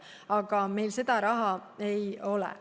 Aga meil seda raha ei ole.